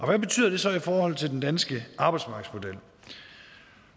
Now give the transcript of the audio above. hvad betyder det så i forhold til den danske arbejdsmarkedsmodel